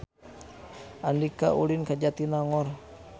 Andika ulin ka Jatinangor